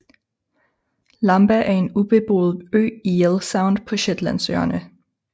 Lamba er en ubeboet ø i Yell Sound på Shetlandsøerne